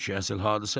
Bu ki əsl hadisədir.